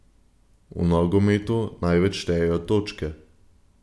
V nogometu največ štejejo točke.